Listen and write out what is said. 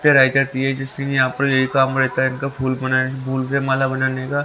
प्याराई जाती है जिससे यहां पर यही काम रहता है इनका फूल बनाने फूल से माला बनाने का--